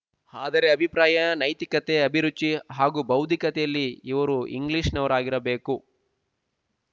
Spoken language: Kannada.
ಆದರೆ ಅಭಿಪ್ರಾಯ ನೈತಿಕತೆ ಅಭಿರುಚಿ ಹಾಗೂ ಬೌದ್ಧಿಕತೆಯಲ್ಲಿ ಇವರು ಇಂಗ್ಲಿಶಿನವರಾಗಿರಬೇಕು